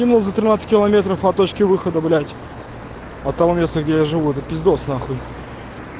за тринадцать км от точки выхода блять от того места где я живу это пиздос нахуй